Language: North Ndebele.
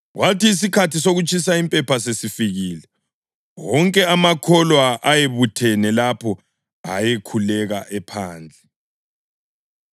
Kwathi isikhathi sokutshisa impepha sesifikile, wonke amakholwa ayebuthene lapho ayekhuleka ephandle.